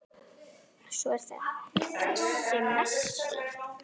Svo er það þessi Messi.